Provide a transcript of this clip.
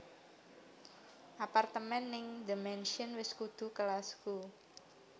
Apartemen ning The Mansion wes dudu kelasku